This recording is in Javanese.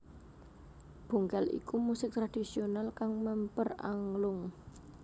Bongkel iku musik tradhisional kang memper anglung